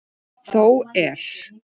Þó er.